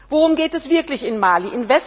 Worum geht es wirklich in Mali?